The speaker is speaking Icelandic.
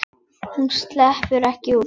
Hún sleppur ekki út.